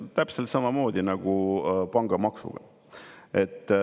See on täpselt samamoodi nagu pangamaksuga.